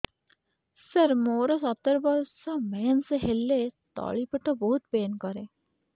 ସାର ମୋର ସତର ବର୍ଷ ମେନ୍ସେସ ହେଲେ ତଳି ପେଟ ବହୁତ ପେନ୍ କରେ